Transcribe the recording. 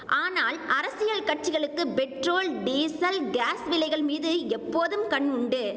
ஆனால் அரசியல் கட்சிகளுக்கு பெட்ரோல் டீசல் காஸ் விலைகள் மீது எப்போதும் கண் உண்டு